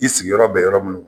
I sigi yɔrɔ bɛ yɔrɔ minnu